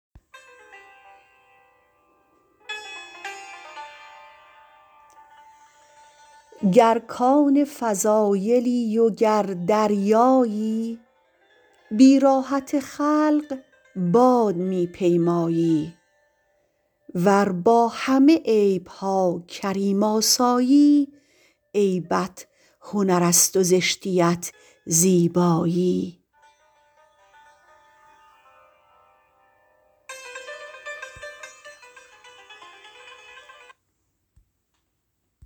گر کان فضایلی وگر دریایی بی راحت خلق باد می پیمایی ور با همه عیبها کریم آسایی عیبت هنرست و زشتیت زیبایی